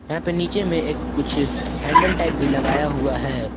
यहां पे नीचे में एक कुछ हैंडल टाइप भी लगाया हुआ है ।